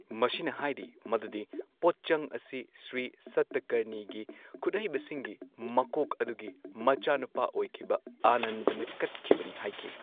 ꯃꯁꯤꯅ ꯍꯥꯏꯔꯤ ꯃꯗꯨꯗꯤ ꯄꯣꯠꯆꯡ ꯑꯁꯤ ꯁ꯭ꯔꯤ ꯁꯇꯀꯔꯅꯤꯒꯤ ꯈꯨꯠꯍꯩꯕꯁꯤꯡꯒꯤ ꯃꯀꯣꯛ ꯑꯗꯨꯒꯤ ꯃꯆꯥꯅꯨꯄꯥ ꯑꯣꯏꯈꯤꯕ ꯑꯥꯅꯟꯗꯅ ꯀꯠꯈꯤꯕꯅꯤ ꯍꯥꯢꯈꯤ꯫